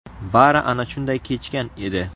Bari ana shunday kechgan edi.